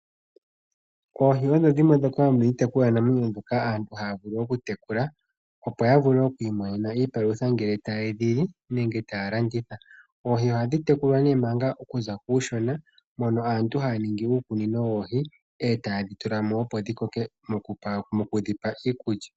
Oohi odho dhimwe dhoka dhomiitekulwanamwenyo mbyoka aantu haya vulu okutekula, opo ya vule oku imonena iipalutha ngele teye dhi li nenge taya landitha. Oohi ohadhi tekulwa nee manga okuza kuushona mono aantu haya ningi uukunino woohi, e taye dhi tula mo opo dhi koke mokudhipa iikulya.